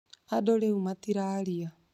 Andũ rĩu matiraria